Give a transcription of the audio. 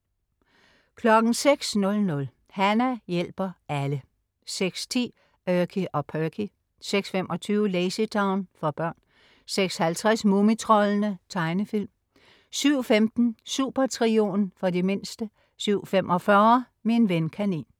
06.00 Hana hjælper alle 06.10 Erky og Perky 06.25 LazyTown. For børn 06.50 Mumitroldene. Tegnefilm 07.15 Supertrioen. For de mindste 07.45 Min ven kanin